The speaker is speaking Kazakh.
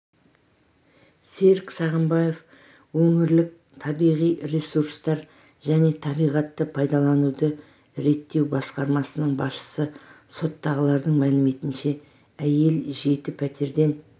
серік сағынбаев өңірлік табиғи ресурстар және табиғатты пайдалануды реттеу басқармасының басшысы соттағылардың мәліметінше әйел жеті пәтерден